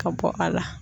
Ka bɔ a la